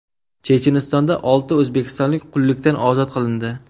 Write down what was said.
Chechenistonda olti o‘zbekistonlik qullikdan ozod qilindi.